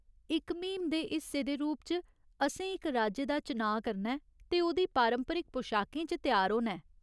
इक म्हीम दे हिस्से दे रूप च, असें इक राज्य दा चनाऽ करना ऐ ते ओह्दी पारंपरिक पशाकें च त्यार होना ऐ।